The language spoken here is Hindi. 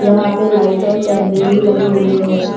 यहाँ पे लाइट और कैमरे भी लगे हुए हैं।